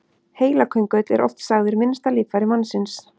Heilaköngull er oft sagður minnsta líffæri mannsins.